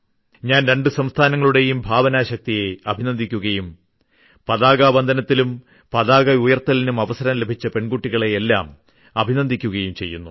ഞാൻ രണ്ടു സംസ്ഥാനങ്ങളുടെയും ഭാവനാശക്തിയെ അഭിനന്ദിക്കുകയും പതാക വന്ദനത്തിനും പതാകയുയർത്തലിനും അവസരം ലഭിച്ച പെൺകുട്ടികളെയെല്ലാം അഭിനന്ദിക്കുകയും ചെയ്യുന്നു